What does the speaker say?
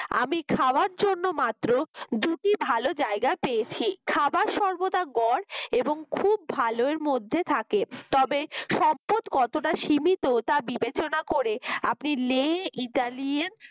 আমি খাওয়ার জন্য মাত্র দুটি ভালো জায়গা পেয়েছি খাবার সর্বদা গড় এবং খুব ভালোর মধ্যে থাকে। তবে সম্পদ কতটা সীমিত তা বিবেচনা করে আপনি লে ইতালিয়ান